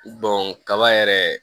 kaba yɛrɛ